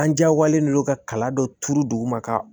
An jagoyalen don ka kala dɔ turu duguma ka